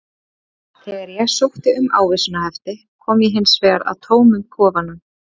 Þegar ég sótti um ávísanahefti kom ég hins vegar að tómum kofanum.